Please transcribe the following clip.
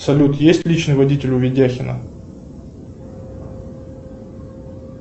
салют есть личный водитель у ведяхина